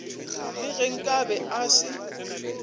le ge nkabe a se